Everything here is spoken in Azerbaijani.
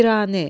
Piranə.